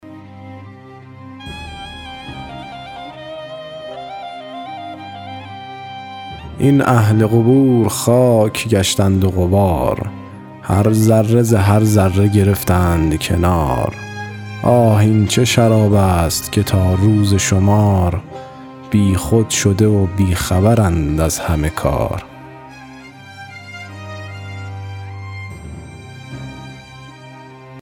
این اهل قبور خاک گشتند و غبار هر ذره ز هر ذره گرفتند کنار آه این چه شراب است که تا روز شمار بیخود شده و بی خبرند از همه کار